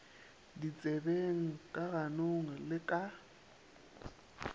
ditsebeng ka ganong le ka